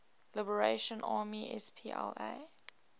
liberation army spla